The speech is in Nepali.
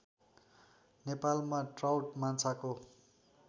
नेपालमा ट्राउट माछाको